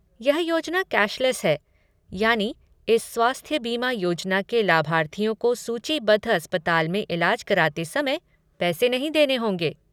यह योजना कैशलेस है, यानी इस स्वास्थ्य बीमा योजना के लाभार्थियों को सूचीबद्ध अस्पताल में इलाज कराते समय पैसे नहीं देने होंगे।